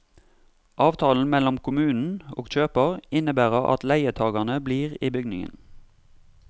Avtalen mellom kommunen og kjøper innebærer at leietagerne blir i bygningen.